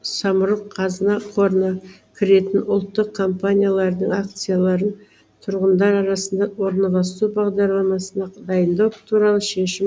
самұрық қазына қорына кіретін ұлттық компаниялардың акцияларын тұрғындар арасында орналасу бағдарламасын дайындау туралы шешім